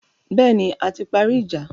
Bẹ́ẹ̀ni, a ti parí ìjà.